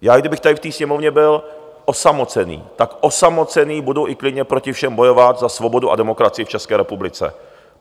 I kdybych tady v té Sněmovny byl osamocený, tak osamocený budu i klidně proti všem bojovat za svobodu a demokracii v České republice.